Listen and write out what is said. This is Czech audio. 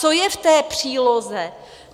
Co je v té příloze?